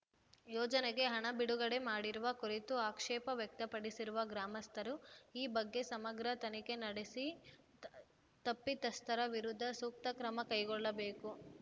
ಯೋಜನೆಗೆ ಹಣ ಬಿಡುಗಡೆ ಮಾಡಿರುವ ಕುರಿತು ಆಕ್ಷೇಪ ವ್ಯಕ್ತಪಡಿಸಿರುವ ಗ್ರಾಮಸ್ಥರು ಈ ಬಗ್ಗೆ ಸಮಗ್ರ ತನಿಖೆ ನಡೆಸಿ ತ ತಪ್ಪಿತಸ್ಥರ ವಿರುದ್ಧ ಸೂಕ್ತ ಕ್ರಮ ಕೈಗೊಳ್ಳಬೇಕು